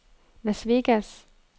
Las Vegas